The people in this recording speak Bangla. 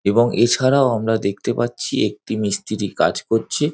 এবং এছাড়াও আমরা দেখতে পাচ্ছি একটি মিস্ত্রি কাজ করছে।